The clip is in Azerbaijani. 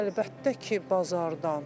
Əlbəttə ki, bazardan.